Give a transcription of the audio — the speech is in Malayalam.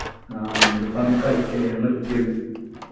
ആഹ് അതുകൊണ്ടിപ്പോ അങ്ങനെ കളിക്കലില്ല ഞാൻ നിർത്തി അത്